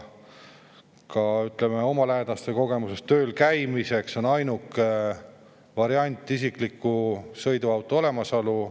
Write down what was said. Ka oma lähedaste kogemusest võin öelda, et tööl käimiseks on ainuke variant isikliku sõiduauto olemasolu.